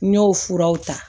N y'o furaw ta